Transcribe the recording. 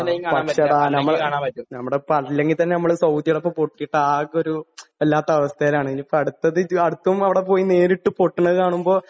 പക്ഷേ ഡാ..നമ്മള് അല്ലെങ്കിൽ തന്നെ സൗദിയോടൊപ്പം പൊട്ടീട്ട് ആകെ ഒരു...വല്ലാത്ത അവസ്ഥയിലാണ്.ഇനിയിപ്പോ അടുത്തത്..അടുത്തതും അവിടെപ്പോയി നേരിട്ട് പൊട്ടണത് കാണുമ്പോ...